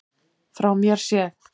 Frá mér séð.